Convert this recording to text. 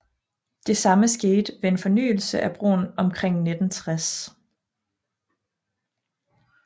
Det samme skete ved en fornyelse af broen omkring 1960